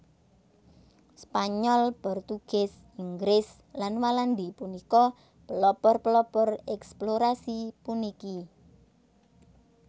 Spanyol Portugis Inggris lan Walandi punika pelopor pelopor eksplorasi puniki